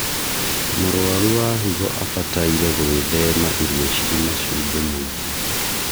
mũrũaru wa higo ambataire gũithema irio cina cumbĩ mũingi